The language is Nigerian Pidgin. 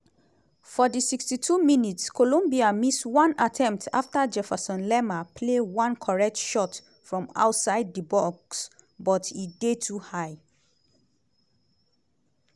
for di 62 minutes colombia miss one attempt afta jefferson lerma play one correct shot from outside di box but e dey too high.